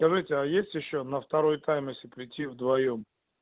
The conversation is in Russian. скажите а есть ещё на второй тайм если прийти вдвоём